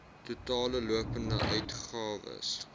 totale lopende uitgawes